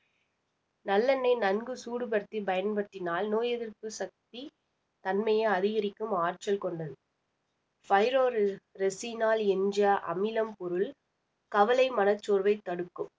நல்லெண்ணெய் நன்கு சூடு படுத்தி பயன்படுத்தினால் நோய் எதிர்ப்பு சக்தி தன்மையை அதிகரிக்கும் ஆற்றல் கொண்டது firorel resinol என்ற அமிலம் பொருள் கவலை மனச்சோர்வை தடுக்கும்